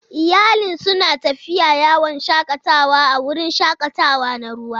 Iyalin suna tafiya yawon shakatawa a wurin shakatawa na ruwa.